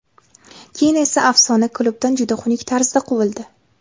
Keyin esa afsona klubdan juda xunuk tarzda quvildi.